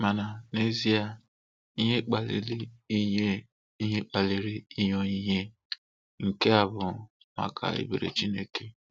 Mana n'ezie ihe kpaliir inye ihe kpaliir inye onyinye nke a bụ maka ebere Chineke.